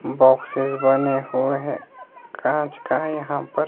box बने हुए हैं कांच का यहां पर--